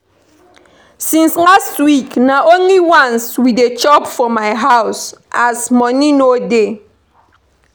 Since last week na only once we dey chop for my house as money no dey